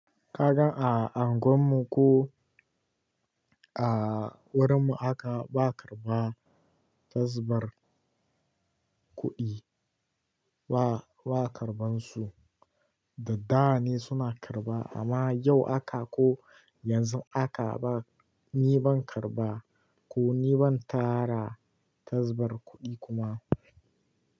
Ka ga a anguwan mu ko a wurin mu haka ba karba tasbar kuɗi ba, ba karban su. Da da ne suna karba amma yau haka ko yanzu haka ba, ni ban karba ko ni ban tara tasbar kuɗi kuma.